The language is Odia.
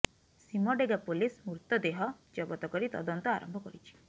ସୀମଡେଗା ପୋଲିସ ମୃତଦେହ ଜବତ କରି ତଦନ୍ତ ଆରମ୍ଭ କରିଛି